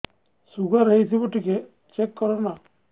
sugar ହେଇଥିବ ଟିକେ check କର ନା